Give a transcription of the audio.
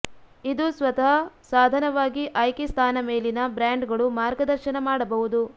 ಇದು ಸ್ವತಃ ಸಾಧನವಾಗಿ ಆಯ್ಕೆ ಸ್ಥಾನ ಮೇಲಿನ ಬ್ರ್ಯಾಂಡ್ಗಳು ಮಾರ್ಗದರ್ಶನ ಮಾಡಬಹುದು